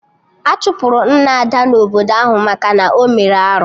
Achụpụrụ Nna Ada na obodo ahụ maka na ọ mere arụ